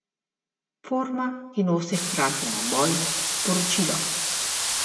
Forma, ki nosi hkrati naboj, sporočilo.